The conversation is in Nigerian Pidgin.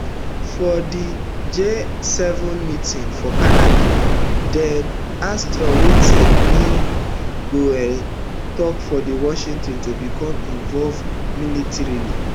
for di gseven meeting for canada dem ask trump wetin e go um take for washington to become involved militarily